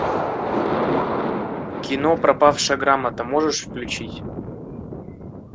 кино пропавшая грамота можешь включить